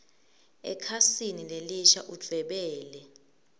ekhasini lelisha udvwebele